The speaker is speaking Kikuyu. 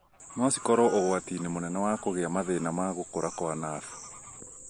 no cikorwo ũgwati-inĩ mũnene wa kũgĩa mathĩna ma gũkũra kwa nabu